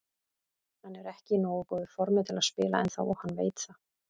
Hann er ekki í nógu góðu formi til að spila ennþá og hann veit það.